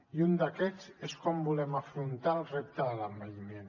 i un d’aquests és com volem afrontar el repte de l’envelliment